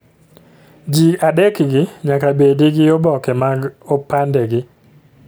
Ji adekgi nyaka bedi gi oboke mag opandegi